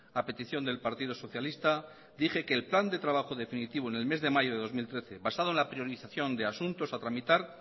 a petición del partido socialista dije que el plan de trabajo definitivo en el mes de mayo de dos mil trece basado en la priorización de asuntos a tramitar